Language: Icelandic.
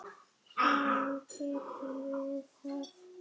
Saman getum við það.